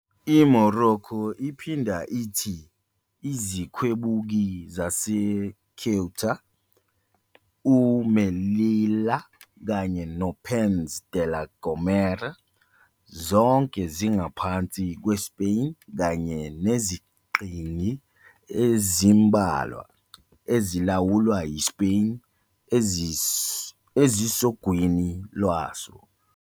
IMorocco iphinda ithi izikhwebuki zaseCeuta, uMelilla kanye noPeñz de la Gomera, zonke zingaphansi kweSpain, kanye neziqhingi ezimbalwa ezilawulwa yiSpain ezisogwini lwaso.